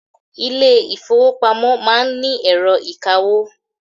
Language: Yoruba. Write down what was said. Ilé ìfọwọ́pamo má ń ni ẹ̀rọ ìkawó.